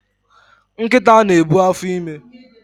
Nkita na-ebu afọime